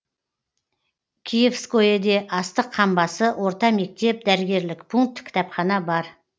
киевскоеде астық қамбасы орта мектеп дәрігерлік пункт кітапхана бар